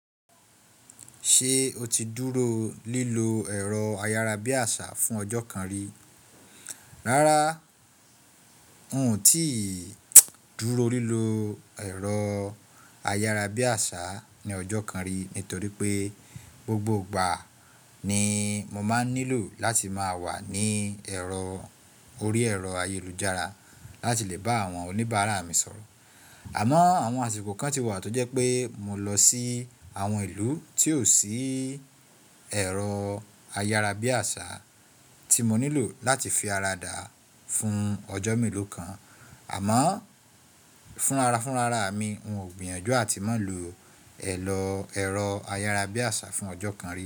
Ṣé o ti dúró lílo ẹ̀rọ ayárabíàṣá fún ọjọ́ kan rí? Rárá, n ò tíì dúró lílo ẹ̀rọ ayárabíàṣá ní ọjọ́ kan rí, nítorí pé gbogbo ìgbà ni mo máa ń nílò láti máa wà ní ẹ̀rọ orí ẹ̀rọ ayélujára láti lè bá àwọn oníbàárà mi sọ̀rọ̀. Àmọ́ àwọn àsìkò kan ti wà tó jẹ́ pé mo lọ sí àwọn ìlú tí ò sí ẹ̀rọ ayárabíàṣá tí mo nílò láti fi ara dà á fún ọjọ́ mélòó kan. Àmọ́ fún ara fún rara mi, n ò gbìyànjú àti má lo ọ̀ọ̀lọ ẹ̀rọ ayárabíàṣá fún ọjọ́ kan rí.